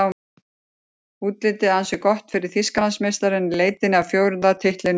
Útlitið ansi gott fyrir Þýskalandsmeistarana í leitinni að fjórða titlinum í röð.